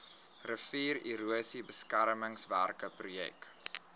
riviererosie beskermingswerke projek